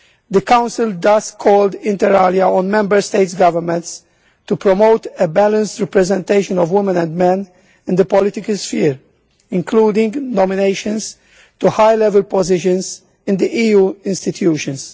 The Council thus called inter alia on Member States' governments to promote a balanced representation of women and men in the political sphere, including nominations to high-level positions in the EU institutions.